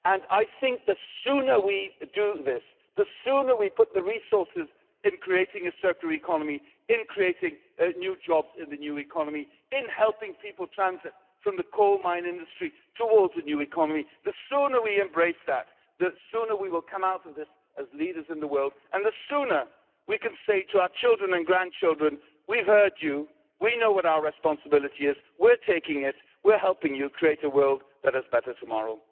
I think the sooner we do this, the sooner we put the resources in creating a circular economy, in creating new jobs in the new economy, in helping people transit from the coal mine industry towards a new economy, the sooner we embrace that the sooner we will come out of this as leaders in the world and the sooner we can say to our children and grandchildren we've heard you, we know what our responsibility is, we're taking it, we're helping you create a world that is better tomorrow.